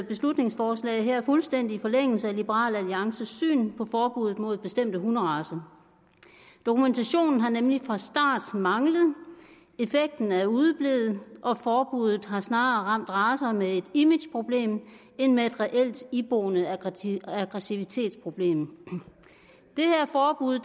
beslutningsforslag her fuldstændig i forlængelse af liberal alliances syn på forbud mod bestemte hunderacer dokumentationen har nemlig fra start manglet effekten er udeblevet og forbuddet har snarere ramt racer med et imageproblem end med et reelt iboende aggressivitetsproblem det her forbud